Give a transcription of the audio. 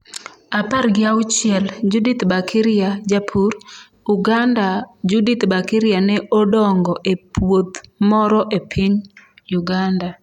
apargi auchiel) Judith Bakirya - Japur, Uganda Judith Bakirya ne odongo e puoth moro e piny Uganda.